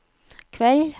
kveld